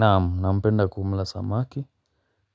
Naam. Nampenda kumla samaki,